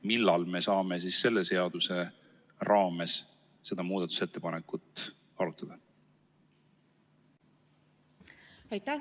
Millal me saame selle seaduse raames seda muudatusettepanekut arutada?